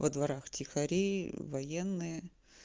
во дворах полиция военные